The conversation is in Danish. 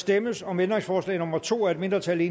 stemmes om ændringsforslag nummer to af et mindretal